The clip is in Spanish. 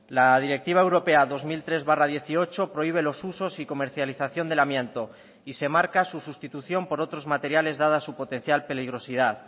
la directiva europea dos mil tres barra dieciocho prohíbe los usos y comercialización del amianto y se marca su sustitución por otros materiales dada su potencial peligrosidad